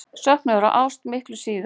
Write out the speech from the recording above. Söknuður eða ást miklu síður.